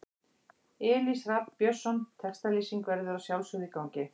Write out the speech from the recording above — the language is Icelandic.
Elís Rafn Björnsson Textalýsing verður að sjálfsögðu í gangi.